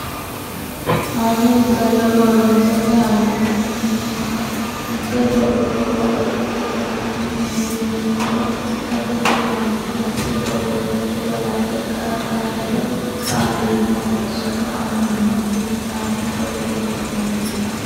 hanni isayyo borreessate hayyo neemmona mitte borro borro Baxise gatese no yinummoro gatese yaanno asse borreessate balanxe qara qara hedo qaali yitanno sufo annimma fushshaatu borreessinanni.